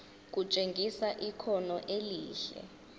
kutshengisa ikhono elihle